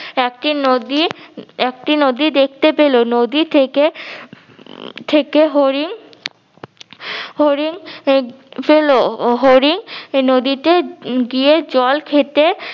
একটি নদী একটি নদী দেখতে পেলো নদী থেকে থেকে হরিণ হরিণ পেলো হরিণ নদীতে গিয়ে জল খেতে